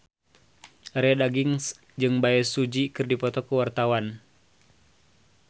Arie Daginks jeung Bae Su Ji keur dipoto ku wartawan